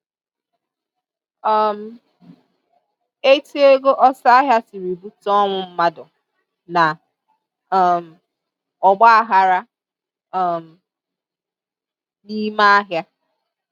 um Etu ego ọsọ ahịa siri bute ọnwụ mmadụ na um ọgbaaghara um n'ime ahịa